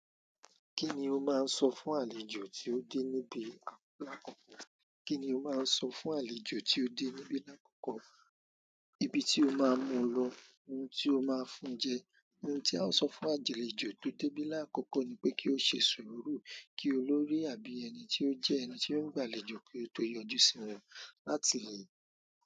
Kíni o máa n sọ fún àlejò tí o dé níbí àkókò? Kíni o máa n sọ fún àlejò tí o dé níbí àkókò? Ibi tí o máa mú lọ, ohun tí o máa fún jẹ. Ohun tí a o sọ fún àjèléjo tí o débí láàkókò ni pé kí o ṣe sùúrù kí olórí àbí ẹni tí ó jẹ́ ẹni tí ó ń gbàléjo kí ó tó yọjú sí wọn láti le.